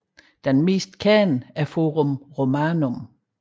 Det mest kendte er Forum Romanum